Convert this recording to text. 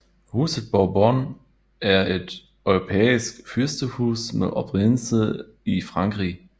Huset Bourbon er et europæisk fyrstehus med oprindelse i Frankrig